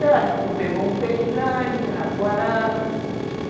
Ela disse que tu pegou um peixe grande, rotoarana